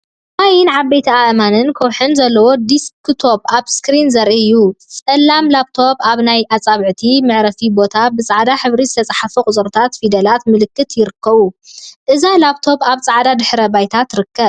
ማይን ዓበይቲ አእማንን ከውሒን ዘለዎ ዲስክ ቶብ አብ ስክሪን ዘርኢ እዩ። ፀላም ላብቶብ አብ ናይ አፃብዕት መዕረፊ ቦታ ብፃዕዳ ሕብሪ ዝተፀሓፉ ቁፅሪታት፣ ፊደላትን ምልክታትን ይርከቡዎም። እዛ ላብ ቶብ አብ ፃዕዳ ድሕረ ባይታ ትርከብ።